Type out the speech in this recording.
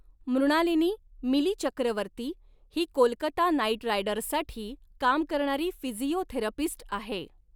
मृणालिनी, 'मिली' चक्रवर्ती ही कोलकाता नाइट रायडर्ससाठी काम करणारी फिजिओथेरपिस्ट आहे.